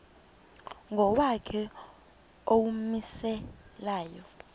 ngokwakhe owawumise layo